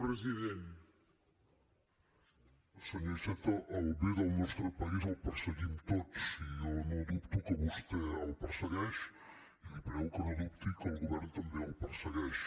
senyor iceta el bé del nostre país el perseguim tots jo no dubto que vostè el persegueix i li prego que no dubti que el govern també el persegueix